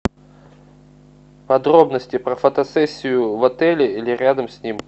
подробности про фотосессию в отеле или рядом с ним